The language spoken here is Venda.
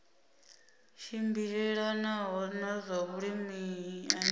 tshimbilelanaho na zwa vhulimi ane